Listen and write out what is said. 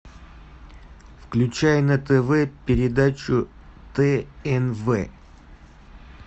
включай на тв передачу тнв